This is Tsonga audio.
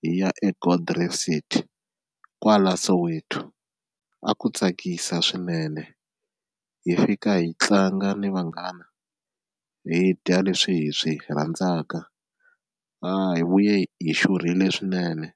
hi ya eGold Reef City kwala Soweto, a ku tsakisa swinene hi fika hi tlanga ni vanghana hi dya leswi hi swi rhandzaka hi vuye hi xurhile swinene.